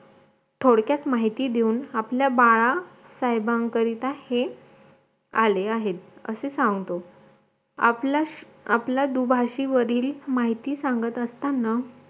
थोडक्यात माहिती देऊन आपल्या बाळा साहेबांकरिता हे आले आहेत असे सांगतो आपल्या आपल्याच दुभाषी माहिती सांगत असतांना